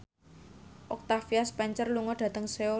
Octavia Spencer lunga dhateng Seoul